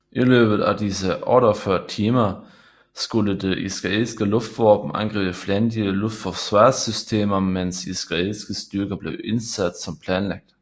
I løbet af disse 48 timer skulle det israelske luftvåben angribe fjendtlige luftforsvarssystemer mens israelske styrker blev indsat som planlagt